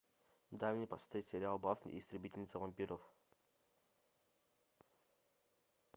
дай мне посмотреть сериал баффи истребительница вампиров